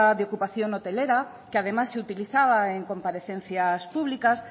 de ocupación hotelera que además se utilizaba en comparecencias públicas